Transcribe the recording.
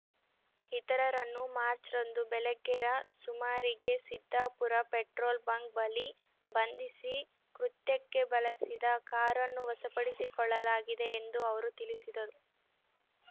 ಈತರರನ್ನು March ರಂದು ಬೆಳಗ್ಗೆ ರ ಸುಮಾರಿಗೆ ಸಿದ್ಧಾಪುರ ಪೆಟ್ರೋಲ್ ಬಂಕ್ ಬಳಿ ಬಂಧಿಸಿ ಕೃತ್ಯಕ್ಕೆ ಬಳಸಿದ ಕಾರನ್ನು ವಶಪಡಿಸಿಕೊಳ್ಳಲಾಗಿದೆ ಎಂದು ಅವರು ತಿಳಿಸಿದರು